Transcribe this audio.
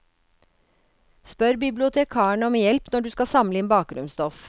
Spør bibliotekaren om hjelp når du skal samle inn bakgrunnsstoff.